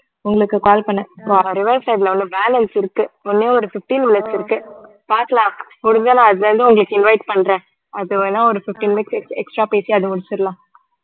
உங்களுக்கு call பண்ணேன் balance இருக்கு ஒண்ணே ஒரு fifteen minutes இருக்கு பாக்கலாம் முடிஞ்சா நான் அதுல இருந்து உங்களுக்கு invite பண்றேன் அதுவேனா ஒரு fifteen minutes ex~ extra பேசி அது முடிச்சிடலாம்